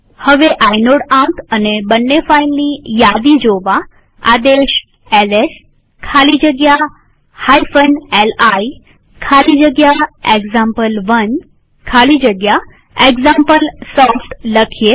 હવે આઇનોડ આંક અને બંને ફાઈલની યાદી જોવા આદેશ એલએસ ખાલી જગ્યા li ખાલી જગ્યા એક્ઝામ્પલ1 ખાલી જગ્યા એક્ઝામ્પલસોફ્ટ લખીએ